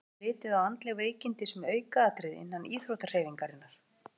Er litið á andleg veikindi sem aukaatriði innan íþróttahreyfingarinnar?